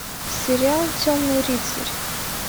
сериал темный рыцарь